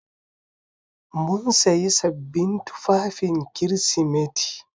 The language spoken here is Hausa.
Mun sayi sabbin tufafin Kirsimeti.